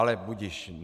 Ale budiž.